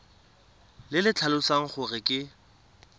le le tlhalosang gore ke